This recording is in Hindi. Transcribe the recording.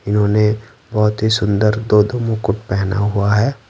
इन्होंने बहुत ही सुंदर दो-दो मुकुट पहना हुआ है।